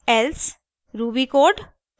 else ruby code